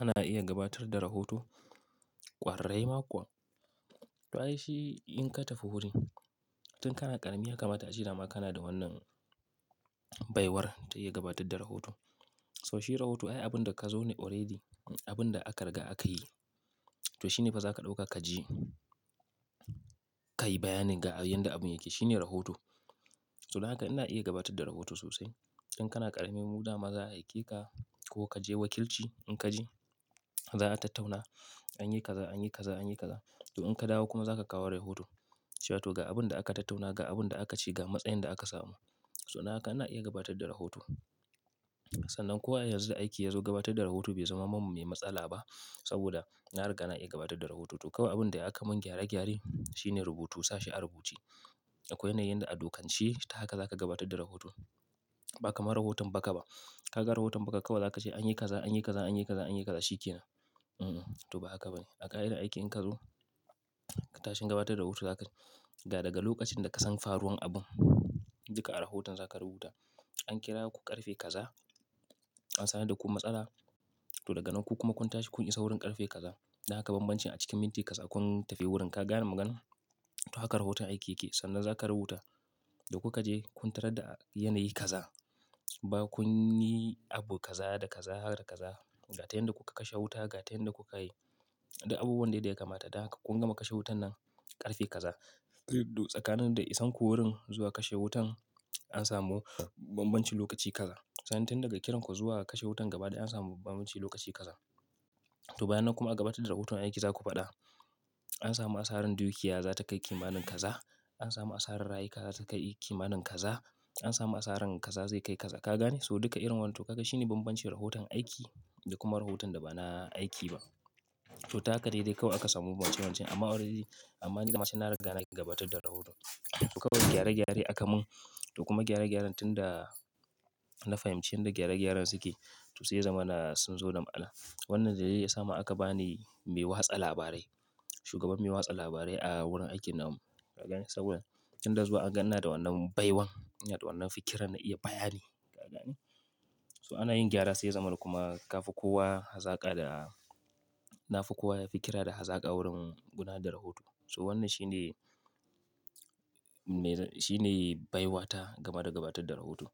Ana iya gabatar da rahoto kwararre ma kuwa. To ai shi in ka tafi wuri, tun kana ƙarami ya kamata a ce dama kana da wannan baiwar ta iya gabatar da rahoto. So shi rahoto, ai abin da ka zo ne already, abin da aka riga aka yi. To shi ne fa za ka ɗauka ka ji, ka yi bayanin ga abin yadda abun yake. Shi ne rahoto. So dan haka ina iya gabatar da rahoto sosai. In kana ƙarami, mu da ma za'a aike ka ko ka je wakilci in ka ji, za a tattauna an yi kaza, an yi kaza, an yi kaza. To in ka dawo kuma za ka kawo rahoto. Cewa to ga abin da aka tattauna, ga abin da aka ce, ga matsayin da aka samu. So dan haka ina iya gabatar da rahoto. Sannan kuwa yanzu da aiki yazo gabatar da rahoto bai zama min mai matsala ba saboda na riga na iya gabatar da rahoto. To kawai abin da ya aka mun gyare gyare shine rubutu sashe a rubuce. Akwai yanayin da adokanci ta haka za ka gabatar da rahoto. Ba kamar rahoton baƙa ba. Kaga rahoton baƙa kawai za ka ce an yi kaza, an yi kaza, an yi kaza, an yi kaza shi ke nan. Mm, to ba haka ba ne. A kai da aiki in ka zo, ka tashi gabatar da rahoto za ka ga daga lokacin da ka san faruwan abun, duka a rahoton za ka rubuta. An kira ku ƙarfe kaza, an sani da ku matsala. To daga nan ku kuma kun tashi kun isa wurin ƙarfe kaza. Da haka bambancin a cikin minti kaza kun tafi wurin. Ka gane maganar? To haka rahoton aiki yake. Sannan za ka rubuta da kuka je kun tarar da yanayi kaza ba kun yi abu kaza da kaza haka da kaza. Ga ta yadda kuka kashe wuta, ga ta yadda kuka yi. Da abubuwan da ya kamata. Da haka kun gama kashe wutan nan ƙarfe kaza. To tsakanin da isanku wurin zuwa kashe wutan an samu bambancin lokaci kaza. Sannan tun daga kiran ku zuwa kashe wutan gaba dai an samu bambancin lokaci kaza. To bayan nan kuma a gabatar da rahoton aiki za ku faɗa an samu asarar dukiya za ta kai kimanin kaza. An samu asarar rayuka za ta kai kimanin kaza. An samu asarar kaza zai kai kaza. Ka gane? So duka irin wani to kaga shi ne bambancin rahoton aiki da kuma rahoton da ba na aiki ba. To ta haka daidai kawai aka samu wancan wancan amma already amma ni dama can na riga na iya gabatar da rahoto. To kawai gyare gyare aka mun to kuma gyare gyaren tun da na fahimci inda gyare gyaren suke to sai ya zamana suna zo da ma'ana. Wannan dai dai ya sa ma aka bani mai watsa labarai, shugaban mai watsa labarai a wurin aikin nan. Ka gane? Saboda tun da zuwa an gan ni da wannan baiwan da wannan fikira na iya bayani. Ka gane? So ana yin gyara sai zaman kuma ka fi kowa hazaka da, na fi kowa yafi kira da hazaka wurin guna da rahoto. So wannan shi ne mai, shi ne baiwata game da gabatar da rahoto.